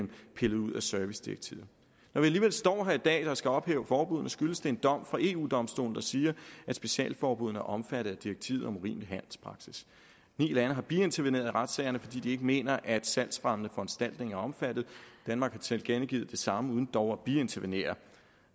pillet ud af servicedirektivet når vi alligevel står her i dag og skal ophæve forbuddene skyldes det en dom fra eu domstolen der siger at specialforbuddene er omfattet af direktivet om urimelig handelspraksis ni lande har biinterveneret i retssagerne fordi de ikke mener at salgsfremmende foranstaltninger er omfattet danmark har tilkendegivet det samme uden dog at biintervenere